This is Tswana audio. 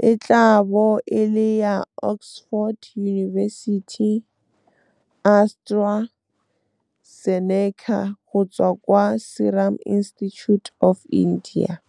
e tla bo e le ya Oxford University-AstraZeneca go tswa kwa Serum Institute of India. Merwalo e mebedi e e tla gorogang lantlha mo Aforika Borwa, morwalo wa ntlha wa meento e le milione ka kgwedi ya Firikgong fa morwalo wa bobedi e tla bo e le meento e le halofo ya milione ka kgwedi ya Tlhakole, e tla bo e le ya Oxford University-AstraZeneca go tswa kwa Serum Institute of India.